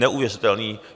Neuvěřitelné!